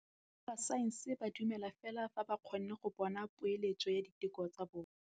Borra saense ba dumela fela fa ba kgonne go bona poeletsô ya diteko tsa bone.